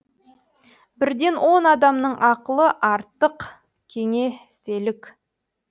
бірден он адамның ақылы артық кеңеселік